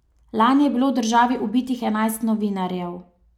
Lani je bilo v državi ubitih enajst novinarjev.